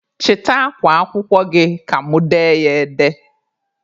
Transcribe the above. Chịta akwa akwụkwọ gị ka mụ dee ya ede!